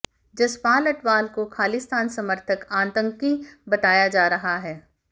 जसपाल अटवाल को खालिस्तान समर्थक आतंकी बताया जा रहा है